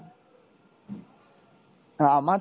আর আমার তো,